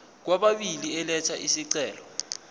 kwababili elatha isicelo